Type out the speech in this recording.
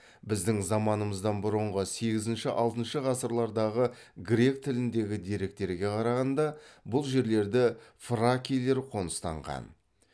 біздің заманымыздан бұрынғы сегізінші алтыншы ғасырлардағы грек тіліндегі деректерге қарағанда бұл жерлерді фракийлер қоныстанған